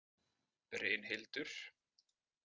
Brynhildur